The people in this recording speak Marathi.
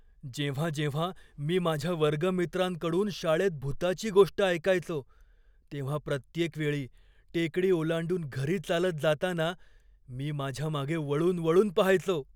जेव्हा जेव्हा मी माझ्या वर्गमित्रांकडून शाळेत भुताची गोष्ट ऐकायचो तेव्हा प्रत्येक वेळी टेकडी ओलांडून घरी चालत जाताना मी माझ्या मागे वळून वळून पहायचो.